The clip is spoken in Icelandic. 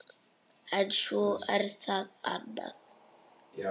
En svo er það annað.